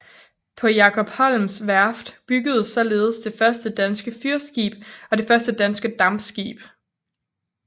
På Jacob Holms værft byggedes således det første danske fyrskib og det første danske dampskib